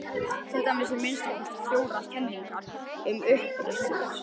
Til eru að minnsta kosti fjórar kenningar um uppruna þess.